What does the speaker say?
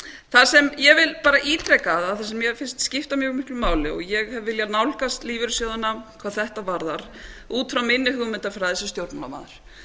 það sem ég vil bara ítreka af því sem mér finnst skipta mjög miklu máli og ég hef viljað nálgast lífeyrissjóðina hvað þetta varðar út frá minni hugmyndafræði sem stjórnmálamanns